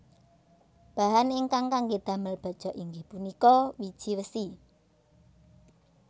Bahan ingkang kangge damel baja inggih punika wiji wesi